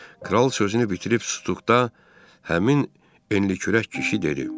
Kral sözünü bitirib sustuqda, həmin enlikürək kişi dedi.